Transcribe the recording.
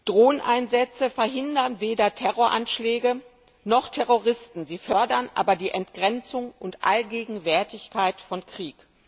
Drohneneinsätze verhindern weder Terroranschläge noch Terroristen, sie fördern aber die Entgrenzung und Allgegenwärtigkeit von Krieg.